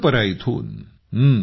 दानदपरा इथून